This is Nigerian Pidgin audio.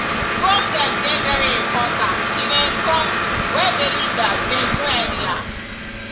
protest dey very important in a country wey di leaders dey do anyhow.